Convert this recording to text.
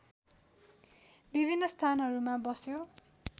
विभिन्न स्थानहरूमा बस्यो